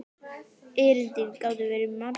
Erindin gátu verið margs konar.